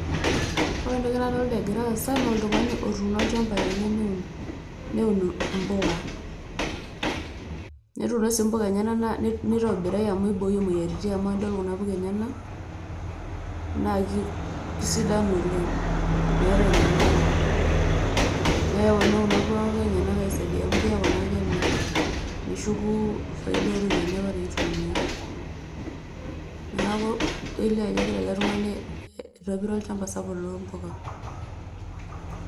Wore entoki naadolta egira aasa naa oltung'ani otuno olchamba lenye newun impuka netuno sii mpuka enyenak nitobiraki amu iboyie moyiaritin amu wore kuna puka enyenak na kesidan oleng metaa enyamali na keponu kuna puka enyenak aisaidia amu keaku ake kemirr neshuku faida oropiyiani apa naitumia neaku kelio ajoo keyiolo ele tung'ani aitobira olchamba sapuk loompuka